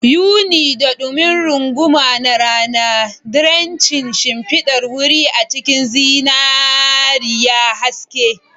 Yuni, da dumi runguma na rana, drenching shimfidar wuri a cikin zinariya haske.